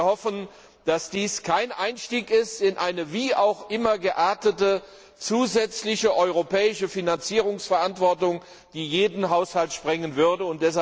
Wir hoffen, dass dies kein Einstieg in eine wie auch immer geartete zusätzliche europäische Finanzierungsverantwortung ist, die jeden Haushalt sprengen würde.